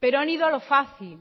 pero han ido a lo fácil